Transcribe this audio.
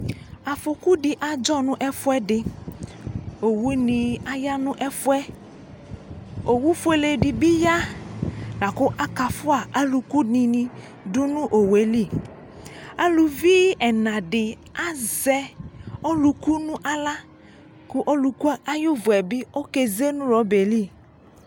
Afɔku di adzɔ nʋ ɛfuɛdi Owu ni aya nʋ ɛfuɛ Owu fuele di bi ya la kʋ akafua alʋku di ni dʋ nʋ owu eli Alʋvi ɛna di azɛ ɔlʋku nʋ aɣla kʋ ɔlʋku ayu vu yɛ bi okeze nʋ rɔba yɛ li